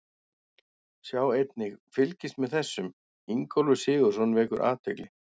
Sjá einnig: Fylgist með þessum: Ingólfur Sigurðsson vekur athygli